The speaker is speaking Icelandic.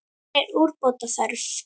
Hér er úrbóta þörf.